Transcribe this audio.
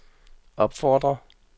opfordrer